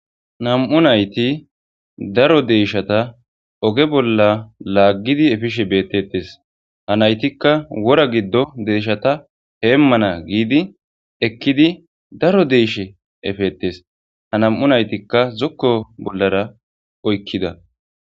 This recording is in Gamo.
Nam'u nayitti daro deyyishshat ogge bollar laggidi effishe bettes ha nayttika wora giddo deyishata hemmana giddi ekkidi daro deyishsha effetes ha nam'u nayitkka zokko bollara oykkida.